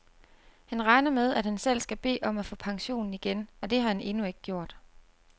Han regner med, at han selv skal bede om at få pensionen igen, og det har han endnu ikke gjort.